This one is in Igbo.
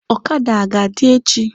Ọkada aga adị echi?